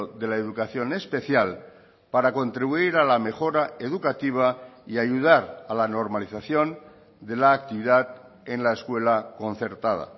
de la educación especial para contribuir a la mejora educativa y ayudar a la normalización de la actividad en la escuela concertada